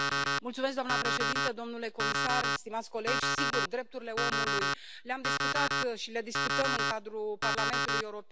Doamnă președintă, domnule comisar, stimați colegi, sigur, drepturile omului, le am discutat și le discutăm în cadrul Parlamentului European.